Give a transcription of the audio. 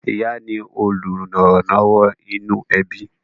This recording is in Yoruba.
ìyá ni olùrànlọ́wọ́ inú ẹbí